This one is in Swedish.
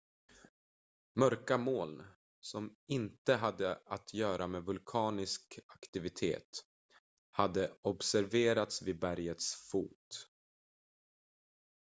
mörka moln som inte hade att göra med vulkanisk aktivitet hade observerats vid bergets fot